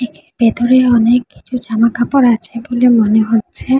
এর ভিতরে অনেক কিছু জামাকাপড় আছে বলে মনে হচ্ছে।